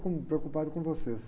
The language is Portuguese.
Com, preocupado com vocês.